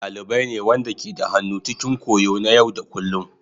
Dalibai ne waɗanda ke da hannu cikin koyo na yau da kullun.